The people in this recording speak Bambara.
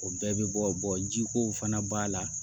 O bɛɛ bɛ bɔ jiko fana b'a la